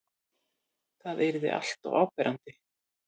Það yrði alltof áberandi.